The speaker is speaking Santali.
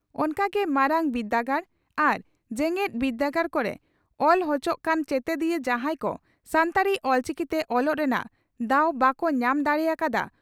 ᱚᱱᱠᱟ ᱜᱮ ᱢᱟᱨᱟᱝ ᱵᱤᱨᱫᱟᱹᱜᱟᱲ ᱟᱨ ᱡᱮᱜᱮᱛ ᱵᱤᱨᱫᱟᱹᱜᱟᱲ ᱠᱚᱨᱮ ᱚᱞᱪᱚᱦ ᱠᱟᱱ ᱪᱮᱛᱮᱫᱤᱭᱟᱹ ᱡᱟᱦᱟᱸᱭ ᱠᱚ ᱥᱟᱱᱛᱟᱲᱤ (ᱚᱞᱪᱤᱠᱤ) ᱛᱮ ᱚᱞᱚᱜ ᱨᱮᱱᱟᱜ ᱫᱟᱣ ᱵᱟᱠᱚ ᱧᱟᱢ ᱫᱟᱲᱮ ᱟᱠᱟᱫᱼᱟ